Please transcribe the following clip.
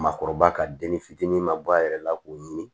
Maakɔrɔba ka denni fitinin ma bɔ a yɛrɛ la k'o ɲini